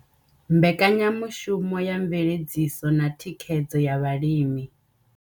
Mbekanyamushumo ya mveledziso na thikhedzo ya vhalimi.